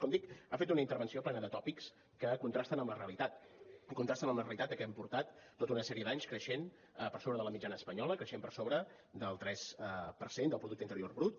com dic ha fet una intervenció plena de tòpics que contrasten amb la realitat i contrasten amb la realitat que hem portat tota una sèrie d’anys creixent per sobre de la mitjana espanyola creixent per sobre del tres per cent del producte interior brut